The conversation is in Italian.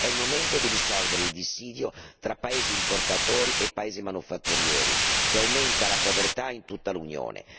È il momento di risolvere il dissidio fra paesi importatori e paesi manufatturieri, che aumenta la povertà in tutta l'Unione.